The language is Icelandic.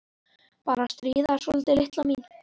Bara að stríða þér svolítið, litla mín.